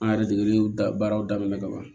An yɛrɛ degeli da baaraw daminɛ ka ban